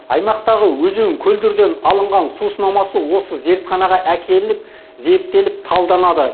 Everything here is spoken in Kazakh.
аймақтағы өзен көлдерден алынған су сынамасы осы зертханаға әкелініп зерттеліп талданады